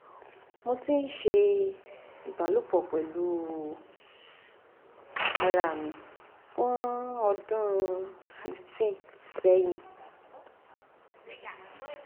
mo ti n se ibalopo pelu ara mi fun odun 15 sẹhin